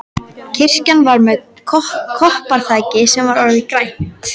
Kirkjan var með koparþaki sem var orðið grænt.